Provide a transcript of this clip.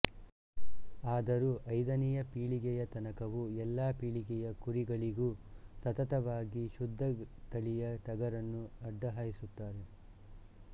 ಆದರೂ ಐದನೆಯ ಪೀಳಿಗೆಯ ತನಕವೂ ಎಲ್ಲ ಪೀಳಿಗೆಯ ಕುರಿಗಳಿಗೂ ಸತತವಾಗಿ ಶುದ್ಧ ತಳಿಯ ಟಗರನ್ನು ಅಡ್ಡ ಹಾಯಿಸುತ್ತಾರೆ